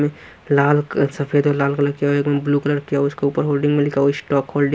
में लाल सफेद और लाल कलर किया एक में ब्लू कलर किया उसके ऊपर होल्डिंग में लिखा हुआ स्टॉक होल्डिंग --